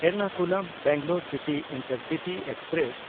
ᱮᱨᱱᱟᱠᱩᱞᱩᱢ–ᱵᱮᱝᱜᱟᱞᱳᱨ city intercity express